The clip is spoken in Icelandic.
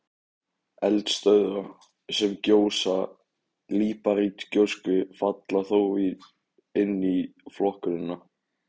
Eldstöðvar, sem gjósa líparítgjósku, falla þó inn í flokkunina.